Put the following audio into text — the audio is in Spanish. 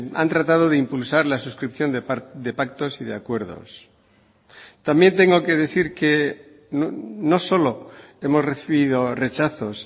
han tratado de impulsar la suscripción de pactos y de acuerdos también tengo que decir que no solo hemos recibido rechazos